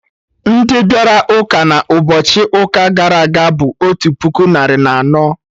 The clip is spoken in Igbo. Ndị bịara ụka na ụbọchị ụka gara aga bụ otu puku narị na anọ